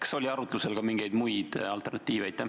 Kas oli arutlusel ka mingeid muid alternatiive?